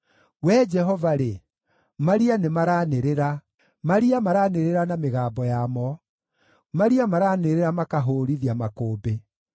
Wee Jehova-rĩ, maria nĩmaranĩrĩra, maria maranĩrĩra na mĩgambo yamo; maria maranĩrĩra makahũũrithia makũmbĩ.